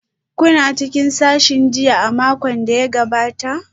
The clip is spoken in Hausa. Kuna cikin sashin jinya a makon da ya gabata?